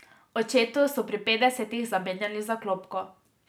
Očetu so pri petdesetih zamenjali zaklopko.